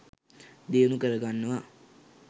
දියුණු කරගන්නවා.